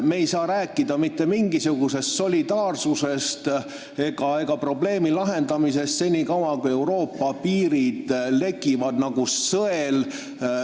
Me ei saa rääkida mitte mingisugusest solidaarsusest ega probleemi lahendamisest, kuni Euroopa piirid lekivad nagu sõel.